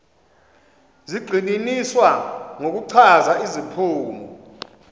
zigxininiswa ngokuchaza iziphumo